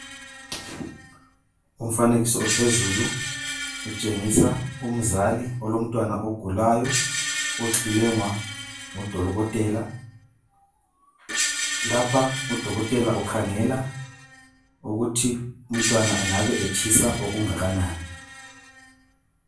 Umfanekiso ophezulu utshengisa umzali olomntwana ogulayo ,Lapha udolotela ukhangele ukuthi umntwana engabe etshisa okungakanani .